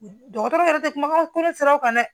Dɔgɔtɔrɔ yɛrɛ tɛ kumakan turu siraw kan dɛ